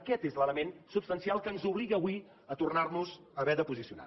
aquest és l’element substancial que ens obliga avui a tornar nos haver de posicionar